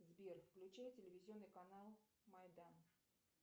сбер включай телевизионный канал майдан